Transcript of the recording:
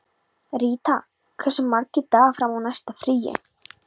Ríta, hversu margir dagar fram að næsta fríi?